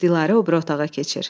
Dilarə o biri otağa keçir.